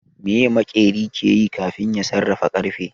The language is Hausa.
Meye maƙeri ke yi kafin ya sarrafa ƙarfe